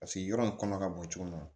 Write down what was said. Paseke yɔrɔ in kɔnɔ ka bɔ cogo min na